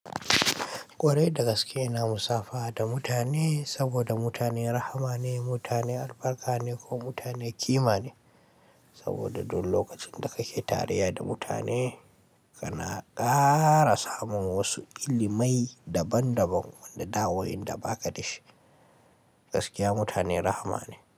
Kwarai da gaske ina musafaha da mutane saboda mutane rahma ne, mutane albarka ne ko mutane kima ne. Saboda duk lokacin da kake tareya da mutane kana ƙara samun wasu ilimai daban-daban wanda wainda ba ka da shi. Gaskiya mutane rahma ne.